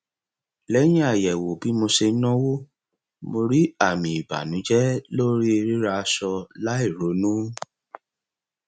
lẹyìn àyẹwò bí mo ṣe ń náwó mo rí àmì ìbànújẹ lórí rírà aṣọ láìronú